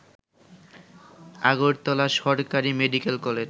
আগরতলা সরকারি medical college